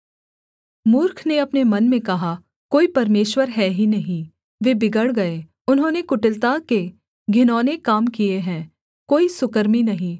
मूर्ख ने अपने मन में कहा कोई परमेश्वर है ही नहीं वे बिगड़ गए उन्होंने कुटिलता के घिनौने काम किए हैं कोई सुकर्मी नहीं